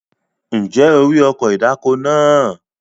Ǹjẹ́ o rí ọkọ̀ ìdáko náà?